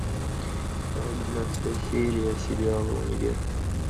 двенадцатая серия сериала универ